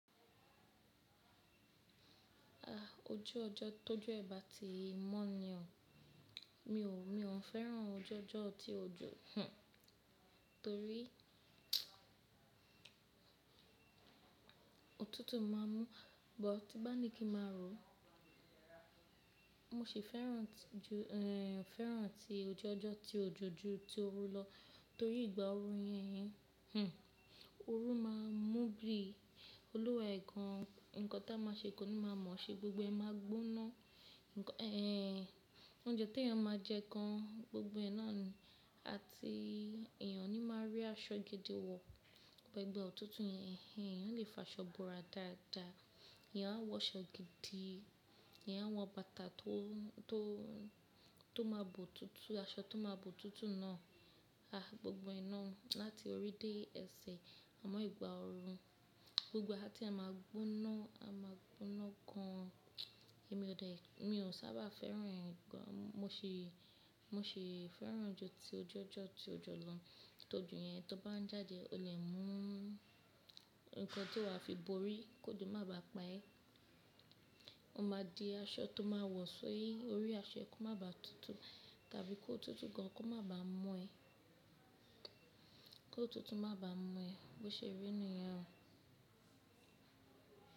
Ah! Ojú ọjọ́ tójú ẹe ba ti mọ́ ni oo. Mi ò, mi ò fẹ́ràn ojú ọjọ́ tí òjò hhn torí òtútù máa mú. But tí bá ní kí máa ro, mo sì fẹ́ràn tiju eeh, fẹ́ràn ti ojú ọjọ́ tí òjò ju ti oru lọ torí ìgbà oru yẹn hhn, oru máa mú bi. Olúwa ẹ̀ gan. Nǹkan tí a máa ṣe kó ní máa mọ̀ ṣe, gbogbo ẹ máa gbóná. Nǹkan eeh, oúnjẹ tí ẹ máa jẹ kan gbogbo ẹná ni àti èèyàn ní máa rí aṣọ gidi wọ̀. Ọ̀bẹ ẹgbẹ́ òtútù yẹn hhn, ìyẹn o lè fi aṣọ bora dáadáa. Ìyẹn a wọ aṣọ gidi, ìyẹn a wọ bàtà tó, tó, tó máa bo tútù, aṣọ tó máa bo tútù náà. Ah! Gbogbo ẹná láti orí dé ẹsẹ̀. Àmọ́ ìgbà oru, gbogbo ee aa tí ee máa gbóná, a máa gbóná gan. Èmi ò dé, mi ò sábà fẹ́ràn ìgbà, mo sì, mo sì fẹ́ràn ju ti ojú ọjọ́ tí òjò lọ. Tójo yẹn tí ó bá ń jáde o le mú nǹkan tí wà á fi borí ki ojo máa ba pa ẹ. O máa di aṣọ tó máa wọ̀ ṣoi, orí aṣọ kó má ba tútù tàbí kó tútù gan, kó má ba mu ẹ, kó tútù má ba mu ẹ. Bo ṣe rí nìyẹn o.